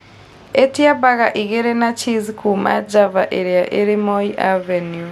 ĩtia baga igĩri na cheese kuuma java ĩria ĩri moi avenue